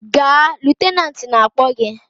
Gaa! Lutenat na-akpọ gị!